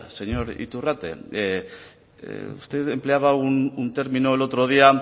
señor iturrate usted empleaba un término el otro día